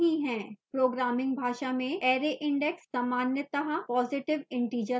programming भाषा में array index सामान्यतः positive integer होता है